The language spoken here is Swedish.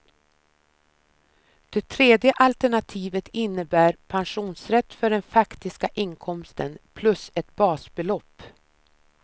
Det tredje alternativet innebär pensionsrätt för den faktiska inkomsten, plus ett basbelopp.